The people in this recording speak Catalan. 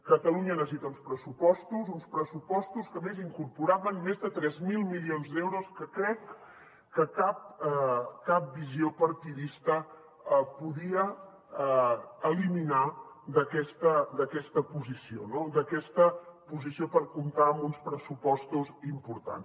catalunya necessita uns pressupostos uns pressupostos que a més incorporaven més de tres mil milions d’euros que crec que cap visió partidista podia eliminar d’aquesta posició no d’aquesta posició per comptar amb uns pressupostos importants